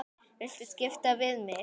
Viltu skipta við mig?